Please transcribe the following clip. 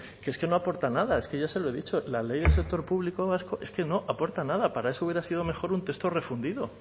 que es que no aporta nada es que ya se lo he dicho la ley del sector público vasco es que no aporta nada para eso hubiera sido mejor un texto refundido